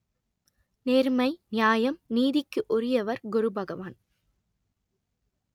நேர்மை நியாயம் நீதிக்கு உரியவர் குருபகவான்